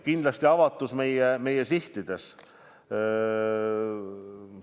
Kindlasti avatus meie sihtides.